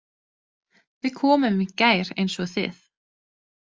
Við komum í gær eins og þið.